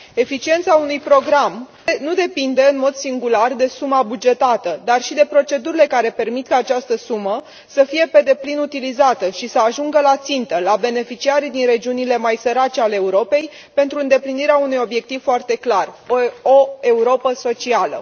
Eficiența unui program nu depinde în mod singular de suma bugetată, ci și de procedurile care permit ca această sumă să fie pe deplin utilizată și să ajungă la țintă, la beneficiarii din regiunile mai sărace ale Europei, pentru îndeplinirea unui obiectiv foarte clar o Europă socială.